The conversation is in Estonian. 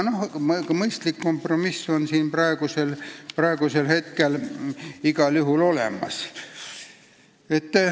Aga mõistlik kompromiss on igal juhul olemas.